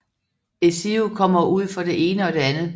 Ezio kommer ud for det ene og det andet